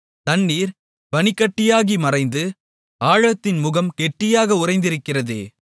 தண்ணீர் பனிக்கட்டியாகி மறைந்து ஆழத்தின் முகம் கெட்டியாக உறைந்திருக்கிறதே